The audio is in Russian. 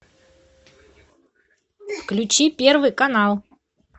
включи первый канал